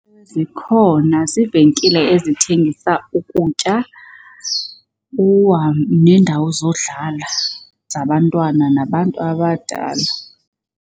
Zikhona. Ziivenkile ezithengisa ukutya neendawo zodlala zabantwana nabantu abadala.